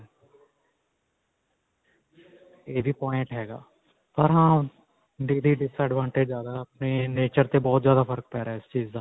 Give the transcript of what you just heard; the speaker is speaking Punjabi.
ਇਹ ਵੀ ਪੋਇੰਟ ਹੈਗਾ disadvantages ਜਿਆਦਾ ਨੇ nature ਤੇ ਬਹੁਤ ਜਿਆਦਾ ਫਰਕ ਪੈ ਰਿਹਾ ਇਸ ਚੀਜ਼ ਦਾ